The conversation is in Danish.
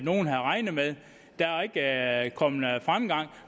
nogen havde regnet med der er ikke kommet fremgang